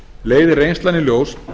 leiðir reynslan í ljós